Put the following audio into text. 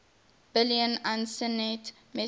billion usenet messages